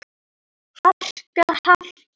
harka. harka.